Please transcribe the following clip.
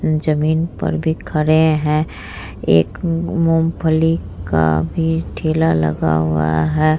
जमीन पर भी खड़े है एक मुंगफली का भी ठेला लगा हुआ है ।